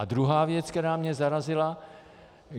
A druhá věc, která mě zarazila.